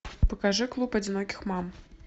покажи клуб одиноких мам